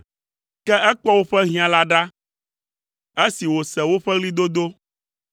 Ke ekpɔ woƒe hiã la ɖa, esi wòse woƒe ɣlidodo;